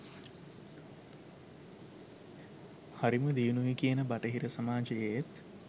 හරිම දියුණුයි කියන බටහිර සමාජයේත්